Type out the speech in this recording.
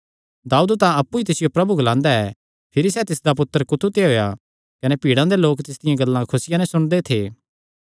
दाऊद तां अप्पु ई तिसियो प्रभु ग्लांदा ऐ भिरी सैह़ तिसदा पुत्तर कुत्थू ते होएया कने भीड़ा दे लोक तिसदियां गल्लां खुसिया नैं सुणदे थे